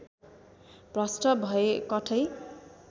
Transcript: भ्रष्ट भए कठै